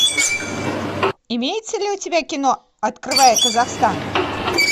имеется ли у тебя кино открывая казахстан